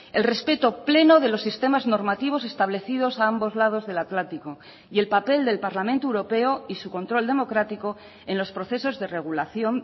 el respeto pleno de los sistemas normativos establecidos a ambos lados del atlántico y el papel del parlamento europeo y su control democrático en los procesos de regulación